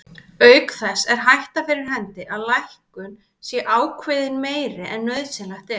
Auk þess er sú hætta fyrir hendi að lækkun sé ákveðin meiri en nauðsynlegt er.